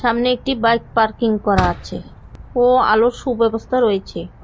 সামনে একটি bike parking করা আছে ও আলোর সুব্যবস্থা রয়েছে।